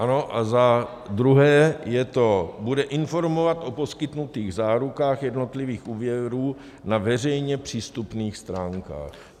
Ano a za druhé je to: bude informovat o poskytnutých zárukách jednotlivých úvěrů na veřejně přístupných stránkách.